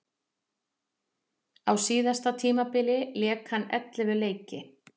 Á síðasta tímabili lék hann ellefu leiki.